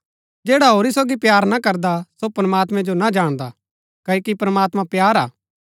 जैडा होरी सोगी प्‍यार ना करदा सो प्रमात्मैं जो ना जाणदा क्ओकि प्रमात्मां प्‍यार हा